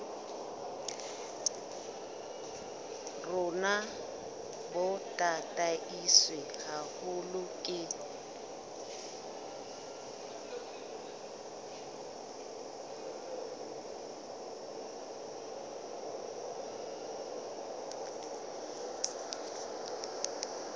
rona bo tataiswe haholo ke